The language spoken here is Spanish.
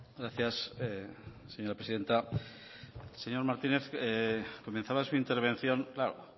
gracias señora presidenta señor martínez comenzaba su intervención claro